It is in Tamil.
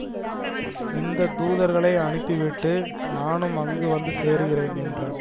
இந்த தூதர்களை அனுப்பிவிட்டு நானும் அங்கு வந்து சேருகிறேன் என்றார்